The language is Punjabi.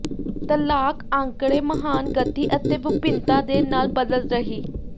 ਤਲਾਕ ਅੰਕੜੇ ਮਹਾਨ ਗਤੀ ਅਤੇ ਵਿਭਿੰਨਤਾ ਦੇ ਨਾਲ ਬਦਲ ਰਹੀ